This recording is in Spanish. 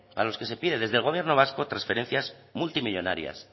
para los que se pide desde el gobierno vasco transferencias multimillónarias